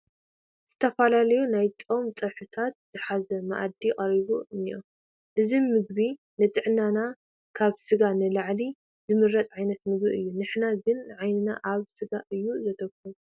ዝተፈላለዩ ናይ ፆም ፀብሕታት ዝሓዘ መኣዲ ቀሪቡ እኒአ፡፡ እዚ ምግቢ ንጥዕናና ካብ ስጋ ንላዕሊ ዝምረፅ ዓይነት ምግቢ እዩ፡፡ ንሕና ግን ዓይንና ኣብ ስጋ እዩ ዘትኹር፡፡